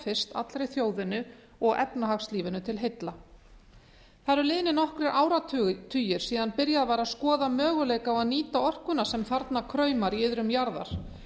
fyrst allri þjóðinni og efnahagslífinu til heilla það eru liðnir nokkrir áratugir síðan byrjað var að skoða möguleika á að nýta orkuna sem þarna kraumar í iðrum jarðar